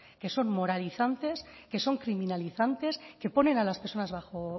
que son moralizantes que son criminalizantes que ponen a las personas